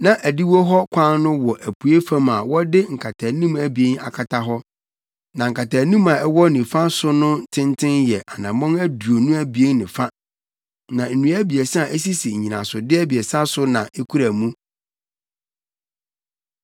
Na adiwo hɔ kwan no wɔ apuei fam a wɔde nkataanim abien akata hɔ. Na nkataanim a ɛwɔ nifa so no tenten yɛ anammɔn aduonu abien ne fa, na nnua abiɛsa a esisi nnyinasode abiɛsa so na ekura mu,